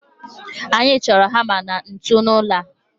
Anyị chọrọ hama na ntu n'ụlọ a